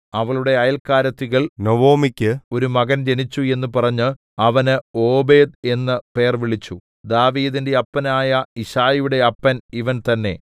അവളുടെ അയല്ക്കാരത്തികൾ നൊവൊമിക്കു ഒരു മകൻ ജനിച്ചു എന്നു പറഞ്ഞു അവന് ഓബേദ് എന്നു പേർവിളിച്ചു ദാവീദിന്റെ അപ്പനായ യിശ്ശായിയുടെ അപ്പൻ ഇവൻ തന്നേ